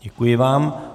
Děkuji vám.